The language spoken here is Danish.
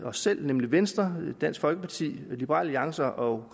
os selv nemlig venstre og dansk folkeparti liberal alliance og